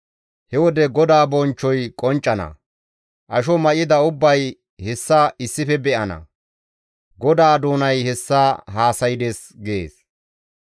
He wode GODAA bonchchoy qonccana; asho may7ida ubbay hessa issife be7ana. GODAA doonay hessa haasaydes» gees.